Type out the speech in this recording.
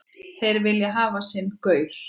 Þeir vilja hafa sinn gaur.